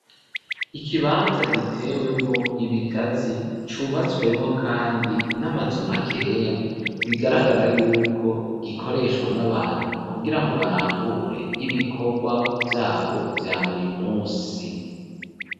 Ikibanza gitewemo ibigazi cubatswemo kandi n'amazu makeya bigaragara y'uko gikoreshwa n'abantu kugira ngo barangure ibikorwa byabo bya buri munsi.